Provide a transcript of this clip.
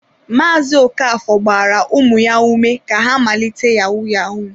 Maazị Okafor gbara ụmụ ya ume ka ha malite yahu-yahu.